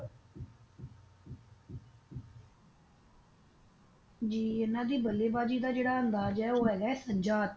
ਜੀ ਇਹਨਾਂ ਦੀ ਬੱਲੇਬਾਜ਼ੀ ਦਾ ਜਿਹੜਾ ਅੰਦਾਜ਼ ਹੈ ਉਹ ਹੇਗਾ ਹੈ ਸਜਾ ਹੱਥ